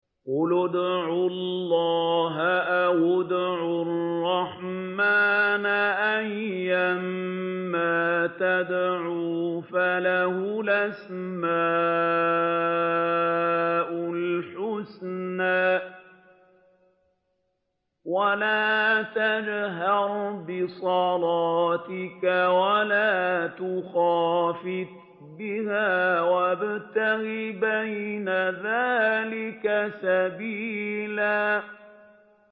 قُلِ ادْعُوا اللَّهَ أَوِ ادْعُوا الرَّحْمَٰنَ ۖ أَيًّا مَّا تَدْعُوا فَلَهُ الْأَسْمَاءُ الْحُسْنَىٰ ۚ وَلَا تَجْهَرْ بِصَلَاتِكَ وَلَا تُخَافِتْ بِهَا وَابْتَغِ بَيْنَ ذَٰلِكَ سَبِيلًا